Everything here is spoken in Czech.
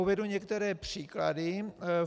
Uvedu některé příklady.